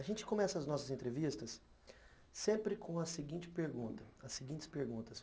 A gente começa as nossas entrevistas sempre com a seguinte pergunta, as seguintes perguntas.